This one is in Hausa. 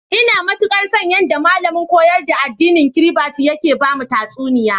Ina matikar so, yadda malamin koyar da addinin Kiribati yake bamu tatsuniya.